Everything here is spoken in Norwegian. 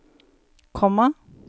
komma